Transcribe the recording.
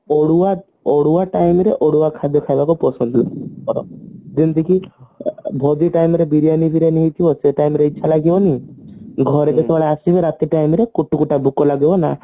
Odia Odia time ରେ ଓଡିଆ ଖାଦ୍ଯ ଖାଇବାକୁ ପସନ୍ଦ ଭୋଜି time ରେ ବିରିୟାନୀ ଫିରିୟାନୀ ହେଇଥିବ ସେ ଟାଇମ ରେ ଇଚ୍ଛା ଲାଗିବନି ଘରକୁ ଯେତେବେଳେ ଆସିବ ରାତି time ରେ କୁଟୁକୁଟା ଭୋକଲାଗିବ ହେଲା